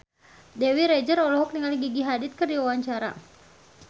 Dewi Rezer olohok ningali Gigi Hadid keur diwawancara